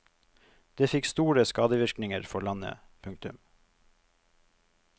Det fikk store skadevirkninger for landet. punktum